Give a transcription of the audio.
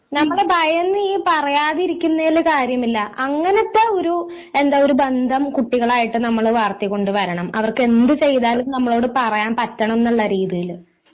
നമ്മളെ ഭയന്ന് ഈ പറയാതിരിക്കുന്നേല് കാര്യമില്ല അങ്ങനത്തെ ഒരു എന്താ ഒരു ബന്ധം കുട്ടികളായിട്ട് നമ്മള് വളർത്തികൊണ്ടു വരണം അവർക്കെന്ത് ചെയ്താലും നമ്മളോട് പറയാൻ പറ്റണം എന്നുള്ള രീതിയില്